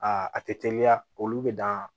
Aa a tɛ teliya olu bɛ dan